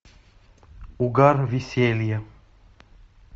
угар веселье